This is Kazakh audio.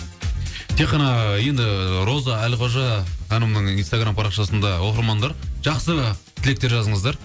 тек қана енді роза әлқожа ханымның инстаграмм парақшасында оқырмандар жақсы тілектер жазыңыздар